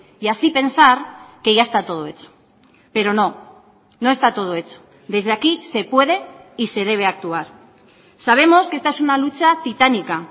y así pensar que ya está todo hecho pero no no está todo hecho desde aquí se puede y se debe actuar sabemos que esta es una lucha titánica